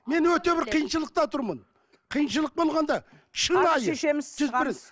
мен өте бір қиыншылықта тұрмын қиыншылық болғанда шынайы